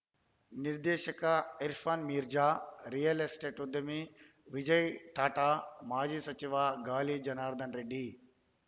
ನಿರ್ದೇಶಕ Irfan Mirza real estate ಉದ್ಯಮಿ ವಿಜಯ ಟಾಟಾ ಮಾಜಿ ಸಚಿವ ಗಾಲಿ ಜನಾರ್ದನ ರೆಡ್ಡಿ